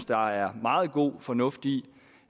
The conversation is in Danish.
der er meget god fornuft i